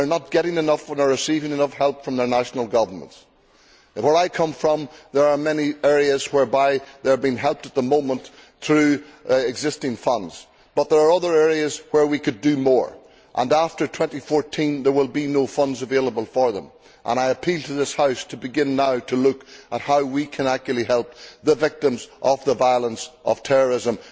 They are not getting enough nor receiving enough help from their national governments. Where I come from, there are many areas whereby they are being helped at the moment through existing funds, but there are other areas where we could do more. After 2014, there will be no funds available to them and I appeal to this House to begin now to look at how we can actually help the victims of the violence of terrorism.